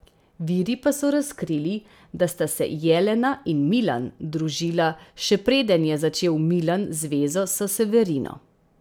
Viri pa so razkrili, da sta se Jelena in Milan družila še preden je začel Milan zvezo s Severino.